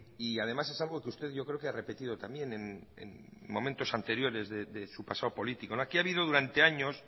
y además es algo que usted yo creo que ha repetido también en momentos anteriores de su pasado político aquí ha habido durante años